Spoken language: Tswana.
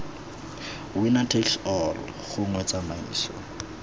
winner takes all gongwe tsamaiso